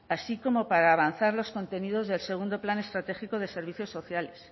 así como para avanzar los contenidos del segundo plan estratégico de servicio sociales